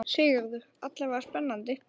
Sigurður: Alla vega spennandi?